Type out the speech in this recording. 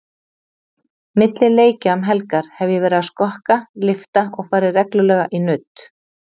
Milli leikja um helgar hef ég verið að skokka, lyfta og farið reglulega í nudd.